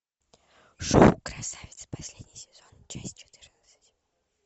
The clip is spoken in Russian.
шоу красавица последний сезон часть четырнадцать